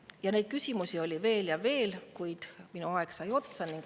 Ja neid küsimusi oli veel ja veel, kuid minu aeg sai otsa.